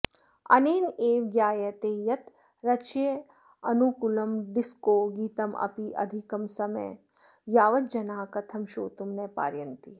अनेनैव ज्ञायते यत् रुच्यनुकूलं डिस्को गीतमपि अधिकं समयं यावत् जनाः कथं श्रोतुं न पारयन्ति